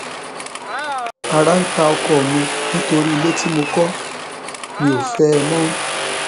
ara ń ta ọkọ mi nítorí ilé tí mo kọ mi ò fẹ ẹ mọ